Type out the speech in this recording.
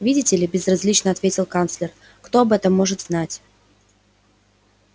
видите ли безразлично ответил канцлер кто об этом может знать